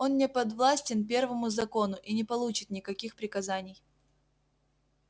он не подвластен первому закону и не получит никаких приказаний